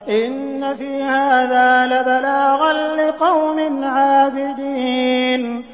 إِنَّ فِي هَٰذَا لَبَلَاغًا لِّقَوْمٍ عَابِدِينَ